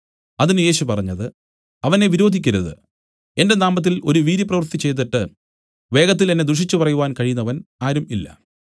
അതിന് യേശു പറഞ്ഞത് അവനെ വിരോധിക്കരുത് എന്റെ നാമത്തിൽ ഒരു വീര്യപ്രവൃത്തി ചെയ്തിട്ട് വേഗത്തിൽ എന്നെ ദുഷിച്ചുപറവാൻ കഴിയുന്നവൻ ആരും ഇല്ല